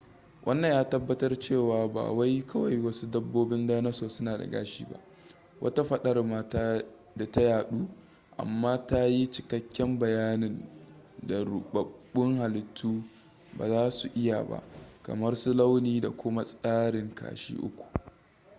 wannan ya tabbatar cewa ba wai kawai wasu dabbobin dinasour suna da gashi ba wata fadar ma da ta yadu amma ta yi cikakken bayanin da rubabbun halittu ba za su iya ba kamar su launi da kuma tsarin kashi uku